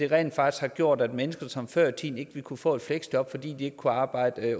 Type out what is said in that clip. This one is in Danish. rent faktisk gjort at mennesker som før i tiden ikke ville kunne få et fleksjob fordi de ikke kunne arbejde